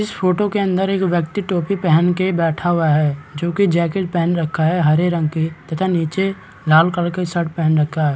इस फोटो के अंदर एक व्यक्ति टोपी पहने के बैठा हुआ है जो की जैकेट पहन रखा है हरे रंग के तथा नीचे लाल कलर के शर्ट पहन रखा है।